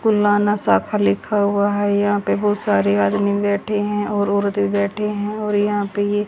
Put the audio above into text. कुल्ला ना शाखा लिखा हुआ है यहां पे बहुत सारे आदमी बैठे हैं और औरते भी बैठी हैं और यहां पे ये --